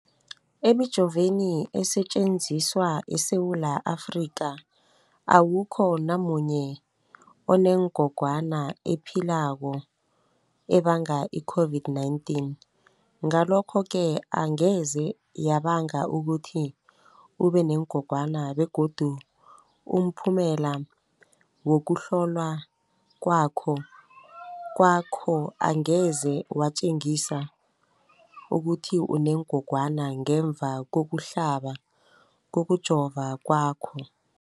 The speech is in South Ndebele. Emijoveni esetjenziswa eSewula Afrika, awukho namunye onengog wana ephilako ebanga i-COVID-19. Ngalokho-ke angeze yabanga ukuthi ubenengogwana begodu umphumela wokuhlolwan kwakho angeze watjengisa ukuthi unengogwana ngemva kokuhlaba, kokujova kwakho.